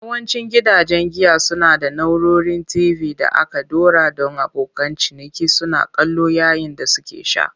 Yawancin gidajen giya suna da na'urorin TV da aka ɗora don abokan ciniki suna kallo yayin da suke sha.